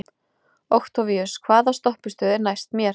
Októvíus, hvaða stoppistöð er næst mér?